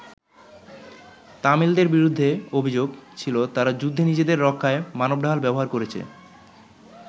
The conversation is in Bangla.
তামিলদের বিরুদ্ধে অভিযোগ ছিল তারা যুদ্ধে নিজেদের রক্ষায় মানবঢাল ব্যবহার করেছে।